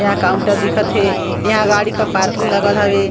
एहा काउंटर दिखत हे यहाँ गाड़ी का पार्किंग लगल हवे .